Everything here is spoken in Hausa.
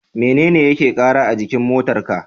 Mene yake kara a jikin motar ka?